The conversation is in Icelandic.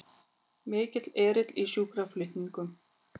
Mikill erill í sjúkraflutningum